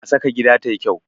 Fulawa na saka gida tayi kyau.